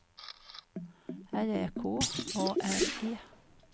L Ä K A R E